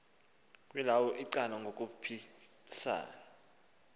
kwelawo icala ngokukhuphisana